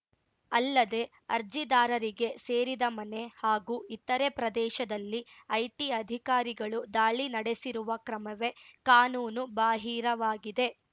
ಅಲ್ಲದೆ ಅರ್ಜಿದಾರರಿಗೆ ಸೇರಿದ ಮನೆ ಹಾಗೂ ಇತರೆ ಪ್ರದೇಶದಲ್ಲಿ ಐಟಿ ಅಧಿಕಾರಿಗಳು ದಾಳಿ ನಡೆಸಿರುವ ಕ್ರಮವೇ ಕಾನೂನು ಬಾಹಿರವಾಗಿದೆ